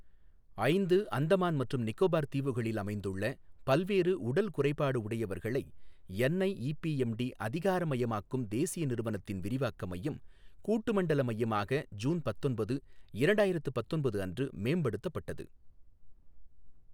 ஐந்து அந்தமான் மற்றும் நிக்கோபார் தீவுகளில் அமைந்துள்ள பல்வேறு உடல் குறைபாடு உடையவர்களை என்ஐஈபிஎம்டி அதிகாரமயமாக்கும் தேசிய நிறுவனத்தின் விரிவாக்க மையம் கூட்டு மண்டல மையமாக ஜூன் பத்தொன்பது, இரண்டாயிரத்து பத்தொன்பது அன்று மேம்படுத்தப்பட்டது.